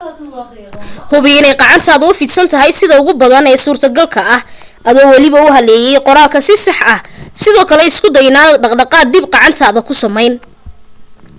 hubi inay gacantaadu u fidsan tahay sida ugu badan ee suurtogalka ah adoo waliba u haleelaya qoraalka si sax ah sidoo kale isku day inaanad dhaqaaq dhib ah gacantaada ku samayn